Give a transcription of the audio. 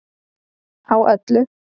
Á öllu